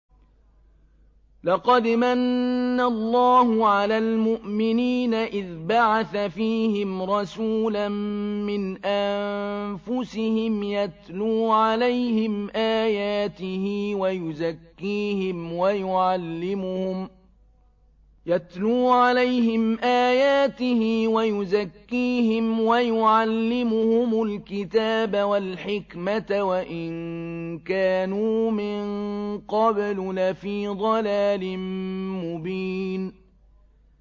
لَقَدْ مَنَّ اللَّهُ عَلَى الْمُؤْمِنِينَ إِذْ بَعَثَ فِيهِمْ رَسُولًا مِّنْ أَنفُسِهِمْ يَتْلُو عَلَيْهِمْ آيَاتِهِ وَيُزَكِّيهِمْ وَيُعَلِّمُهُمُ الْكِتَابَ وَالْحِكْمَةَ وَإِن كَانُوا مِن قَبْلُ لَفِي ضَلَالٍ مُّبِينٍ